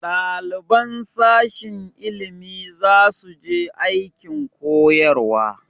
Ɗaliban sashen ilimi za su je aikin koyarwa